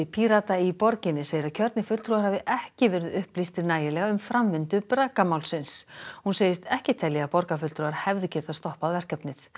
Pírata í borginni segir að kjörnir fulltrúar hafi ekki verið upplýstir nægilega um framvindu hún segist ekki telja að borgarfulltrúar hefðu getað stoppað verkefnið